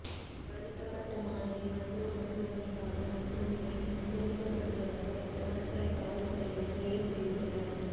பாதிக்கப்பட்ட மாணவி மருத்துவ பரிசோதனைக்காக மருத்துவமனையில் அனுமதிக்கப்பட்டுள்ளதாக செவனகல காவற்துறையினர் மேலும் தெரிவித்தனர்